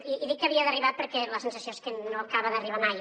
i dic que havia d’arribar perquè la sensació és que no acaba d’arribar mai